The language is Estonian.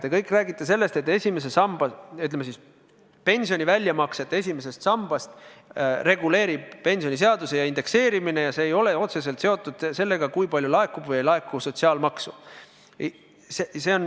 Te kõik räägite sellest, et pensioni väljamakseid esimesest sambast reguleerib pensioniseadus, indekseerimine, ja see ei ole otseselt seotud sellega, kui palju laekub sotsiaalmaksu.